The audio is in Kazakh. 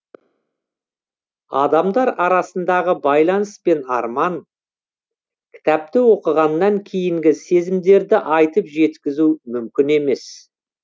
адамдар арасындағы байланыс пен арман кітапты оқығаннан кейінгі сезімдерді айтып жеткізу мүмкін емес